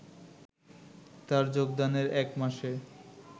তার যোগদানের এক মাসে